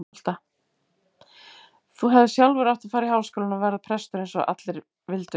Þú hefðir sjálfur átt að fara í Háskólann og verða prestur eins og allir vildu.